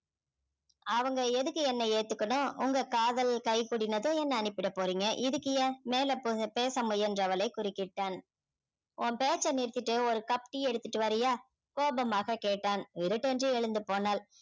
அவங்க எதுக்கு என்னை ஏத்துக்கணும் உங்க காதல் கை கூடினதும் என்னை அனுப்பிடப் போறீங்க இதுக்கு ஏன் மேல போ~ பேச முயன்றவளை குறுக்கிட்டான் உன் பேச்சை நிறுத்திட்டு ஒரு cup tea எடுத்துட்டு வர்றியா கோபமாக கேட்டான் விருட்டென்று எழுந்து போனாள்